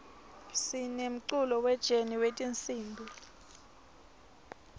sinemculo we jeni wetinsimb